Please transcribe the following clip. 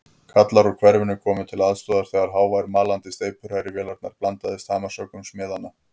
Kallar úr hverfinu komu til aðstoðar þegar hávær malandi steypuhrærivélarinnar blandaðist hamarshöggum smiðanna.